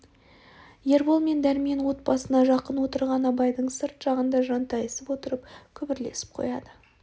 ербол мен дәрмен от басына жақын отырған абайдың сырт жағында жантайысып отырып күбірлесіп қояды